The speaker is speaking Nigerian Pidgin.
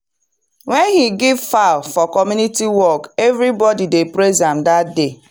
when he give fowl for community work everybody dey praise am that day.